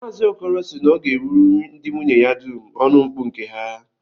Maazi Okoro sị na ọ ga-ewuru ndị nwunye ya dum ọnụmkpu nke ha